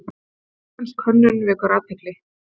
Íslensk hönnun vekur athygli